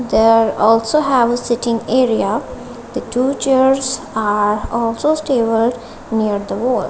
there also have a sitting area the two chairs are also stable near the wall.